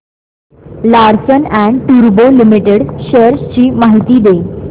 Larsen and टुर्बो limited shares ची माहिती दे